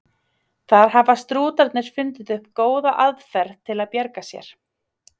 Þar hafa strútarnir fundið upp góða aðferð til að bjarga sér.